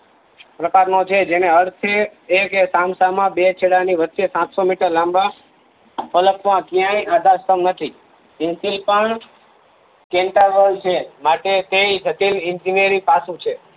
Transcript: પ્રકાર નો છે જેને અર્થે બેકે સામ સામા બે છેડાની વચ્ચે સાત સો મીટર લાંબા ફલક માં ક્યાય આધાર સ્થભ નથી કેમ કે પણ ચિંતા વણ છે માટે તે જટિલ એંજીન્યરિંગ પાસું છે